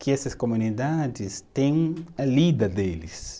que essas comunidades têm a lida deles.